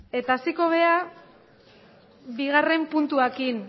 hasiko gara bigarrena puntuarekin